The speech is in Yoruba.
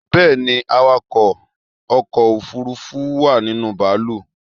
Bẹ́ẹ̀ni, awakọ̀ ọkọ̀ òfurufú wà ninú bàálù